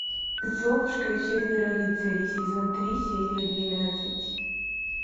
золушка и четверо рыцарей сезон три серия двенадцать